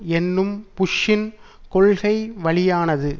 என்னும் புஷ்ஷின் கொள்கைவழியானது